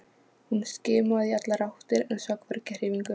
Hún skimaði í allar áttir en sá hvergi hreyfingu.